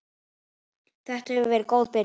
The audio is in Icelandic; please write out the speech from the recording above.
Þetta hefur verið góð byrjun.